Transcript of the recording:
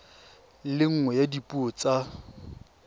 le nngwe ya dipuo tsa